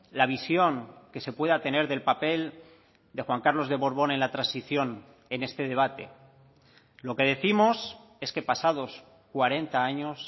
la visión que se pueda tener del papel de juan carlos de borbón en la transición en este debate lo que décimos es que pasados cuarenta años